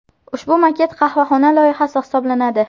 Ushbu maket qahvaxona loyihasi hisoblanadi.